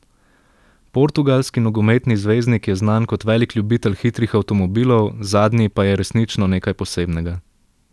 Portugalski nogometni zvezdnik je znan kot velik ljubitelj hitrih avtomobilov, zadnji pa je resnično nekaj posebnega.